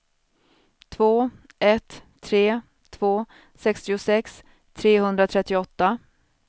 två ett tre två sextiosex trehundratrettioåtta